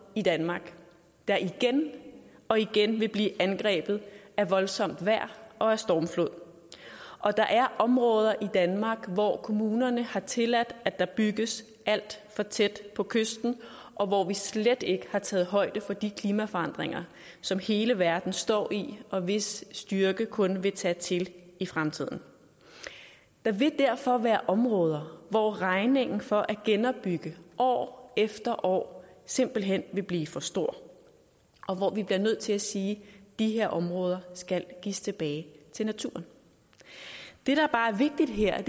i danmark der igen og igen vil blive angrebet af voldsomt vejr og af stormflod og der er områder i danmark hvor kommunerne har tilladt at der bygges alt for tæt på kysten og hvor vi slet ikke har taget højde for de klimaforandringer som hele verden står i og hvis styrke kun vil tage til i fremtiden der vil derfor være områder hvor regningen for at genopbygge år efter år simpelt hen vil blive for stor og hvor vi bliver nødt til at sige at de her områder skal gives tilbage til naturen det der bare er vigtigt her er